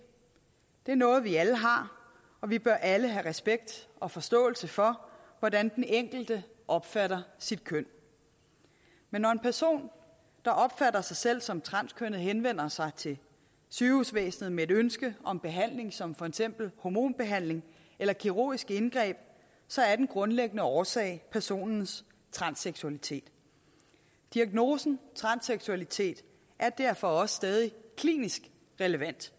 er noget vi alle har og vi bør alle have respekt og forståelse for hvordan den enkelte opfatter sit køn men når en person der opfatter sig selv som transkønnet henvender sig til sygehusvæsenet med et ønske om behandling som for eksempel hormonbehandling eller kirurgisk indgreb er den grundlæggende årsag personens transseksualitet diagnosen transseksualitet er derfor også stadig klinisk relevant